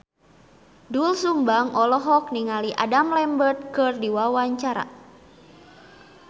Doel Sumbang olohok ningali Adam Lambert keur diwawancara